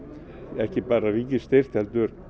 ekki bara ríkisstyrkt heldur